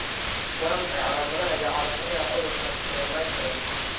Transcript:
Waa maxay calaamadaha iyo calaamadaha cudurka haynta Chylomicron?